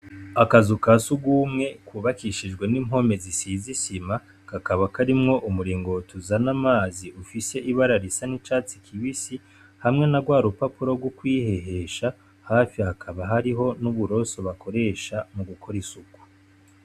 Akazu kasugumwe kubakishijwe n'impome zisize isima, kakaba karimwo umuringoti uzana amazi ufise ibara risa n'icatsi kibisi, hamwe narwa rupapuro rwo kwihehesha, hafi hakaba hariho uburuso bakoresha mugukora isuku.